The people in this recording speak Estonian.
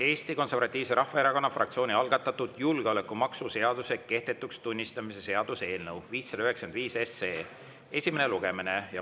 Eesti Konservatiivse Rahvaerakonna fraktsiooni algatatud julgeolekumaksu seaduse kehtetuks tunnistamise seaduse eelnõu esimene lugemine.